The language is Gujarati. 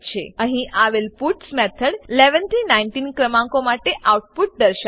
અહીં આવેલ પટ્સ પુટ્સ મેથડ 11 થી 19 ક્રમાંકો માટે આઉટપુટ દર્શાવશે